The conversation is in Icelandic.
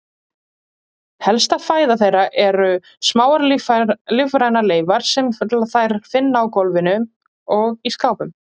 Helsta fæða þeirra eru smáar lífrænar leifar sem þær finna á gólfum og í skápum.